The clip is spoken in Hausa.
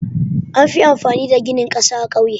Anfi amfani da gini ƙasa a ƙauye.